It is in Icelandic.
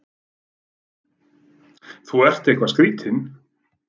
Þú ert nú eitthvað skrýtinn!